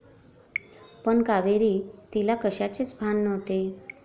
पण कावेरी. तिला कशाचेच भान नव्हते.